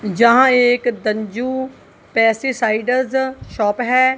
जहां एक तंजू पेस्टिसाइडर शॉप है।